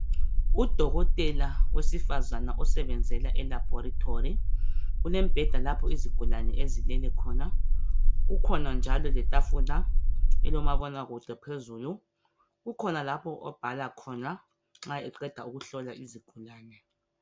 Udokotela wesifazana osebenzela elabhorethori, kumbheda lapho izigulane ezilele khona. Kukhona njalo letafula elomabonakude phezulu. Kukhona lapho abhala khona nxa eqeda ukuhlola izigulane.